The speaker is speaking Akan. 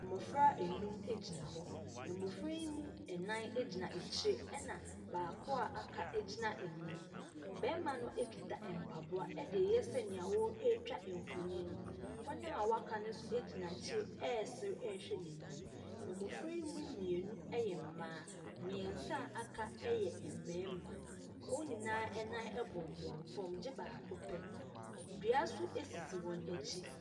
Mmofra ɛnum ɛgyina hɔ. Mmofra yi mu ɛnan ɛgyina akyire ɛna baako aka ɛgyina anim. Bɛɛma no ɛkita mpaboa ɛdee yɛ sɛnea ɔɔtwa mfoni no, wɔn a waka no nso ɛgyina akyire ɛsere ɛɛhwɛ nanim. Mmofra yi mienu ɛyɛ mmaa., miensa a aka ɛyɛ mmarima. Wɔn nyinaa ɛnan ɛbɔmbɔm fɔm ɛgye baako pɛ. Dua nso ɛsisi wɔn akyi.